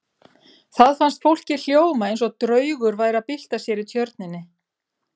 Það fannst fólki hljóma eins og draugur væri að bylta sér í tjörninni.